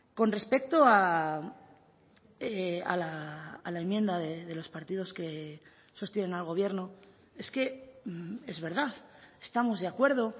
con respecto a la enmienda de los partidos que sostienen al gobierno es que es verdad estamos de acuerdo